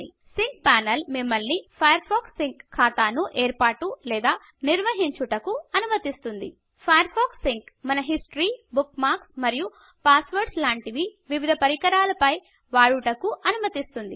sync panel మిమల్ని Firefox sync ఖాతా ను ఏర్పాటు లేదా నిర్వహించుటకు అనుమతిస్తుంది Firefox sync Firefox sync మన హిస్టరీ బూక్మర్క్స్ మరియు పస్స్వోర్డ్స్ లాంటి వివిధ పరికరాల పై వాడుటకు అనుమతిస్తుంది